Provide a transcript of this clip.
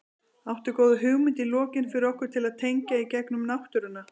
Áttu góða hugmynd í lokin fyrir okkur til að tengja í gegnum náttúruna?